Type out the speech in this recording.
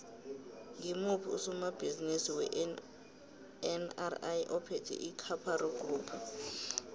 ngimuphi usomabhizimisi wenri ophethe icaparo group